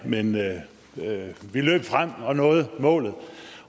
men vi løb frem og nåede målet